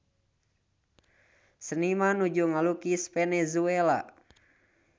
Seniman nuju ngalukis Venezuela